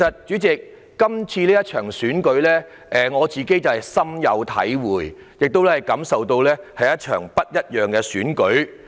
主席，對於這次選舉，我深有體會，亦感受到這是一場不一樣的選舉。